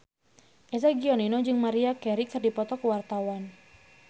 Eza Gionino jeung Maria Carey keur dipoto ku wartawan